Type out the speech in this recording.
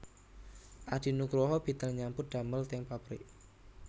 Adi Nugroho bidal nyambut damel teng pabrik